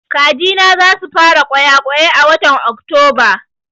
Kaji na za su fara ƙwayaƙwai a watan Oktoba